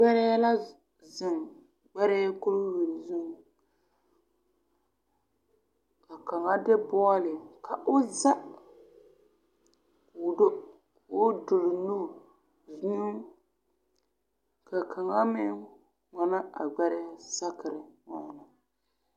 Gbɛrɛɛ la zeŋ ɡbɛrɛɛ kuriwiri zuŋ ka kaŋa de bɔɔle ka o za k'o do k'o turi nu wieo ka kaŋa meŋ wane a ɡbɛrɛɛ sakere.